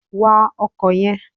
Wa ọkò yen